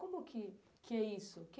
Como que que é isso?